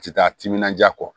A ti taa timinanja kɔ